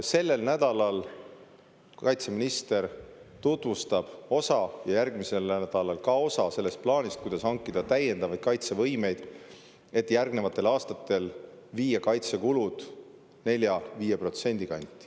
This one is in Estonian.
Sellel nädalal tutvustab kaitseminister ühte osa ja järgmisel nädalal teist osa sellest plaanist, kuidas hankida täiendavaid kaitsevõimeid, et järgnevatel aastatel viia kaitsekulud 4–5% kanti.